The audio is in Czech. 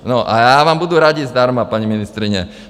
No a já vám budu radit zdarma, paní ministryně.